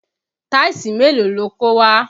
Táìsì mélòó lo kó wá?